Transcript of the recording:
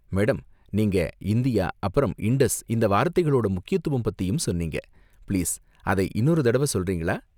Madam, நீங்க 'India', அப்பறம் 'Indus' இந்த வார்த்தைங்களோட முக்கியத்துவம் பத்தியும் சொன்னீங்க, பிளீஸ் அதை இன்னொரு தடவ சொல்றீங்களா?